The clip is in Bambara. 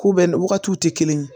Ko bɛɛ n'o wagatiw tɛ kelen ye